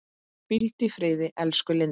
Hvíldu í friði elsku Linda.